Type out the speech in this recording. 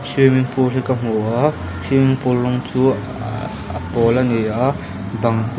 swimmingpool hi ka hmu a swimmingpool rawng chu a a pâwl ani a bang pawh--